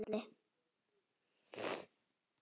Ormur kinkaði kolli.